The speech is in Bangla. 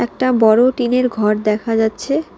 একটা বড় টিন -এর ঘর দেখা যাচ্ছে।